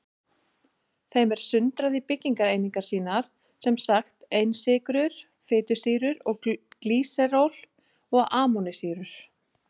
Þeim er sundrað í byggingareiningar sínar, sem sagt einsykrur, fitusýrur og glýseról og amínósýrur.